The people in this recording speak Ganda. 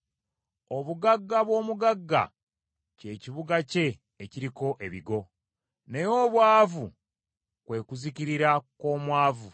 Obugagga bw’omugagga kye kibuga kye ekiriko ebigo, naye obwavu kwe kuzikirira kw’omwavu.